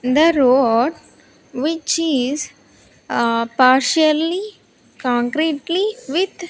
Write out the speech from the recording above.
In the road which is a partially concretely with --